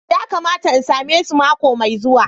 Ya kamata in same su mako mai zuwa.